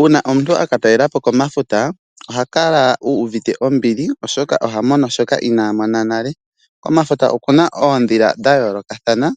Uuna omuntu aka talela po komafuta ohaka la uuvite ombili, oshoka oha mono shoka inaa mona nale Komafuta okuna oondhila dha yoolokathana